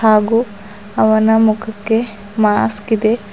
ಹಾಗೂ ಅವನ ಮುಖಕ್ಕೆ ಮಾಸ್ಕ್ ಇದೆ.